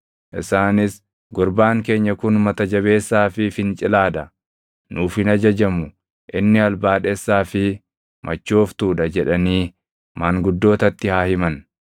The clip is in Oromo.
Isaanis, “Gurbaan keenya kun mata jabeessaa fi fincilaa dha; nuuf hin ajajamu; inni albaadhessaa fi machooftuu dha” jedhanii maanguddootatti haa himan.